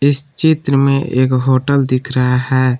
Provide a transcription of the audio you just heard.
इस चित्र में एक होटल दिख रहा है।